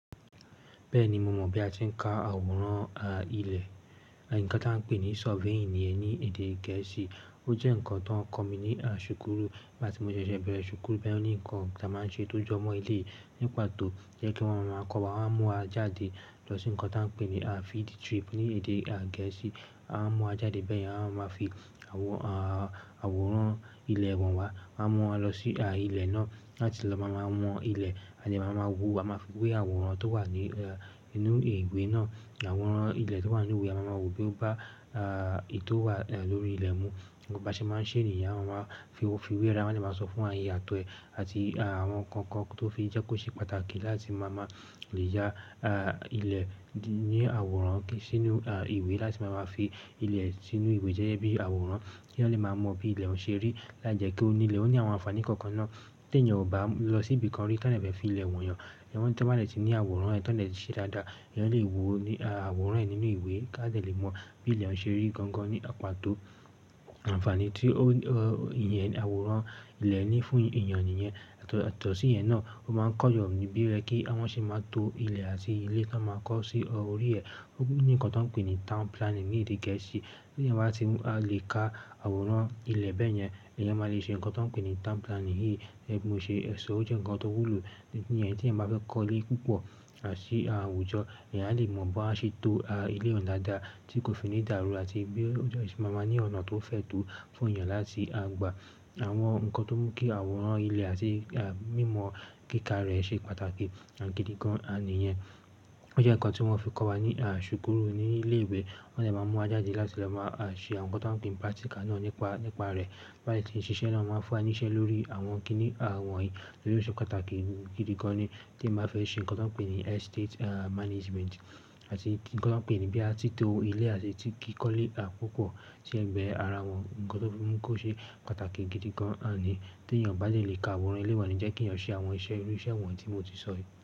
Bẹ́ẹ̀ni, mo mọ̀ bí a ti ń ka àwòrán ilẹ̀, ǹkan tí a ń pè ní surveying yẹn ní èdè Gẹ̀ẹ́sì. Ó jẹ́ ǹkan tó ń kọ́ mi ní ṣùkúrù, nígbà tí mo ṣẹ̀ṣẹ̀ bẹ̀rẹ̀ ṣùkúrù. Bẹ́ẹ̀ ni ǹkan tí a máa ń ṣe tó jọmọ eleyii, nípató jẹ́ kí wọ́n máa kọ́ wa, wọ́n á mú wa jáde lọ sí ǹkan tí a ń pè ní field trip ní èdè Gẹ̀ẹ́sì. A máa mú wa jáde bẹ́ẹ̀ yẹn, a máa fi àwòrán àwòrán ilẹ̀ wọ́n wa, wọ́n á mú wa lọ sí ilẹ̀ náà láti lọ máa won ilẹ̀, à de máa mọ wo, a máa fi wé àwòrán tó wà ní inú ìwé náà. Àwòrán ilẹ̀ tó wà nínú ìwé, a máa ma wo boya ó bá èyí tó wà lórí ilẹ̀ mu. Bí wọ́n bá ṣe máa ń ṣe ní, ìyá máa fi wé ara wọ́n, máa sì máa sọ fún wa àyè ààtọ̀ ẹ̀ àti àwọn ǹkan kan tó fi jẹ́ kó ṣe pàtàkì láti máa mọ lè ya ilẹ̀ ní àwòrán sínú ìwé láti máa fi ilẹ̀ sínú ìwé jẹ́yẹ́ bí àwòrán ki yan lẹ́ máa mọ bí ilẹ̀ ń ṣe rí, láijẹkẹ́ òní ilẹ̀ ó ní àwọn àǹfààní kankan náà tí ènìyàn ò bá lọ síbi kan rí, tán ẹ́ bẹ̀ fi ilẹ̀ wọ̀n yàn. Ìyẹn tẹ́ bá lè ti ní àwòrán rẹ̀ tán ẹ́ lè ṣe dáadáa, ìyẹn lè wo àwòrán rẹ̀ nínú ìwé ká ẹ́ dẹ̀ lè mọ̀ bí ilẹ̀ ń ṣe rí gangan ní àpáto àǹfààní tí ó ìyẹn àwòrán ilẹ̀ ní fún èèyàn nìyẹn. Àtọ̀sí ìyẹn náà, ó máa ń kọ́ èèyàn níbí rẹ̀ kí àwọn ṣe máa to ilẹ̀ àti ilé tó máa kọ́ sí orí rẹ̀. Ó ní ǹkan tí a ń pè ní town planning ní èdè Gẹ̀ẹ́sì. Bí èèyàn bá ti lè ka àwòrán ilẹ̀ bẹ́ẹ̀ yẹn, èèyàn máa le ṣe ǹkan tí a ń pè ní town planning yìí tí mo ṣe sọ. Ó jẹ́ ǹkan tó wúlò nípa èyí tí èèyàn bá fẹ́ kọ́ ilé púpọ̀ àti àwùjọ. Ẹ̀yàn á lè mọ bí a ṣe to ilé ọ̀nà dáadáa tí kò fi ní ìdàrù àti bí ó ṣe máa máa ní ọ̀nà tó fẹ̀ tó fún èèyàn láti gbà àwọn ǹkan tó mú kí àwòrán ilẹ̀ àti mímọ̀ kíkà rẹ̀ ṣe pàtàkì gidi gan-an nìyẹn. Ó jẹ́ ǹkan tí wọ́n fi kọ́ wa ní ṣùkúrù ní ilé ìwé. Wọ́n tẹ́ ẹ máa mú wa jáde láti lọ máa ṣe àwọn ǹkan tí wọ́n ń pe ní practical náà nípa rẹ̀. Bá ti ń ṣiṣẹ́ náà, ó máa ń fún wa ní iṣẹ́ lórí àwọn kìíní wọ̀nyí tí ó ṣe pàtàkì gidi gan-an tí ẹ̀ máa fẹ́ ṣe ǹkan tí a ń pè ní estate management àti ǹkan tí a ń pè ní bí a ti to ilẹ̀ àti ti kíkọ́lé púpọ̀ tí ẹ́ gbé ara wọn ǹkan tó fi mú kó ṣe pàtàkì gidi gan-an ni. Tí èèyàn bá lè lè ka àwòrán ilẹ̀ wọ̀nyí jẹ́ kí èèyàn ṣe àwọn iṣẹ́ irú iṣẹ́ wọ̀nyí tí mo ti sọ yìí.